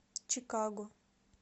чикаго